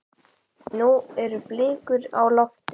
Nú eru blikur á lofti.